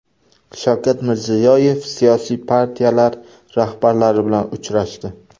Shavkat Mirziyoyev siyosiy partiyalar rahbarlari bilan uchrashdi.